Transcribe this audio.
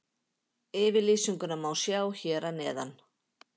Yfirlýsinguna má sjá hér að neðan.